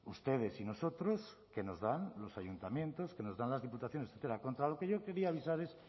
ustedes y nosotros que nos dan los ayuntamientos que nos dan las diputaciones contra lo que yo quería avisar es